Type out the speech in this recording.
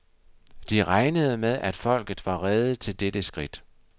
De regnede med, at folket var rede til dette skridt.